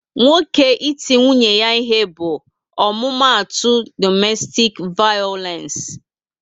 Nwoke iti nwunye ya ihe bụ omumatu domestik vayolence